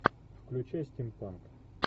включай стимпанк